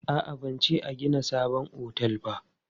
A'a, ban ce an gina sabon otel ba.